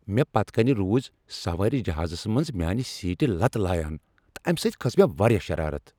مےٚ پتہٕ کنۍ روز سوٲرۍ جہازس منٛز میانِہ سیٹہ لتہٕ لایان تہٕ امِہ سۭتۍ کھٔژ مےٚ واریاہ شرارت ۔